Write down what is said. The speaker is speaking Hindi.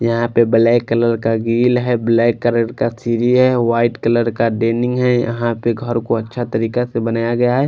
यहाँ पे ब्लैक कलर का ब्लैक कलर का सीढ़ी है व्हाईट कलर का है यहाँ पे घर को अच्छा तरीका से बनाया गया है।